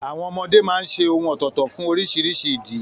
Àwọn ọmọdé máa ń ṣe ohùn ọ̀tọ̀ọ̀tọ̀ fún oríṣiríṣi ìdí.